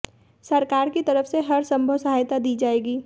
सरकार की तरफ से हर संभव सहायता दी जाएगी